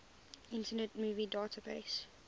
internet movie database